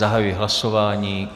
Zahajuji hlasování.